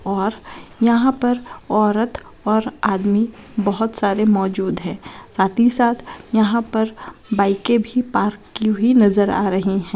और यहां पर औरत और आदमी बहुत सारे मौजूद हैं साथ ही साथ यहां पर बाइके भी पार्क की हुई नजर आ रही है।